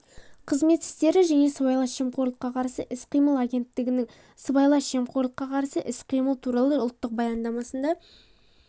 қызмет істері және сыбайлас жемқорлыққа қарсы іс-қимыл агенттігінің сыбайлас жемқорлыққа қарсы іс-қимыл туралы ұлттық баяндамасында